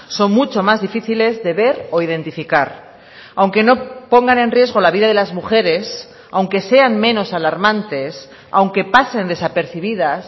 son mucho más difíciles de ver o identificar aunque no pongan en riesgo la vida de las mujeres aunque sean menos alarmantes aunque pasen desapercibidas